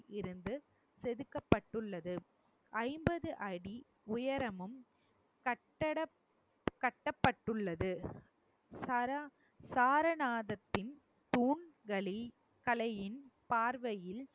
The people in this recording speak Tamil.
இருந்து செதுக்கப்பட்டுள்ளது ஐம்பது அடி உயரமும் கட்டட~ கட்டப்பட்டுள்ளது சரா~ சாரநாத்தின் தூண்களில் கலையின் பார்வையில்